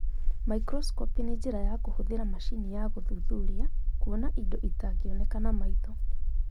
Microscopy nĩ njĩra ya kũhũthĩra macini ya gũthuthuria kuona indo itangĩoneka na maitho.